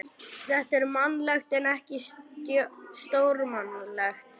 Þetta er mannlegt en ekki stórmannlegt.